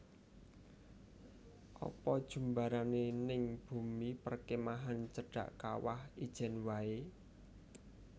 Apa jumbarane ning bumi perkemahan cedhak Kawah Ijen wae?